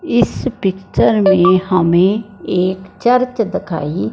इस पिक्चर में हमें एक चर्च दिखाई--